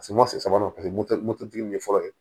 sabanan paseke moto tigi ye fɔlɔ ye